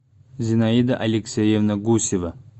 зинаида алексеевна гусева